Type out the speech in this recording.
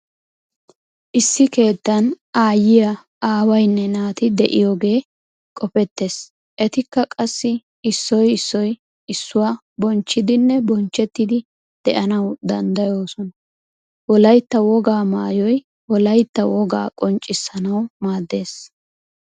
Issi keettan aayiyaa aawaynne naati de"iyoogee qopettees etikka qassi issoy issoy issuwaa bonchchidinne bonchchettidi de"anawu danddayoosona. Wolaytta wogaa maayoy wolaita wogaa qonccissanawu maaddees.